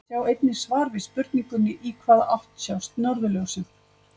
Sjá einnig svar við spurningunni Í hvaða átt sjást norðurljósin?